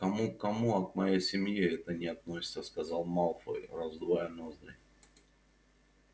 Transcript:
к кому к кому а к моей семье это не относится сказал малфой раздувая ноздри